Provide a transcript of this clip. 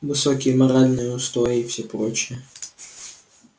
высокие моральные устои и все прочее